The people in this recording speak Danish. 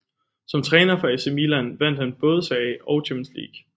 Som træner for AC Milan vandt han både Serie A og Champions League